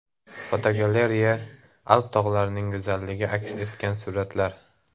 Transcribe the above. Fotogalereya: Alp tog‘larining go‘zalligi aks etgan suratlar.